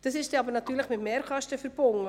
Diese ist mit Mehrkosten verbunden.